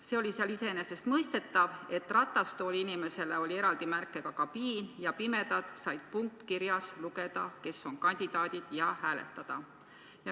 Seal oli iseenesestmõistetav, et ratastooliinimestele oli eraldi märkega kabiin ja pimedad said punktkirjas lugeda, kes on kandidaadid, ja hääletada.